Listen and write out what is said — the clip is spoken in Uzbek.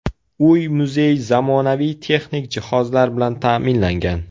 Uy-muzey zamonaviy texnik jihozlar bilan ta’minlangan.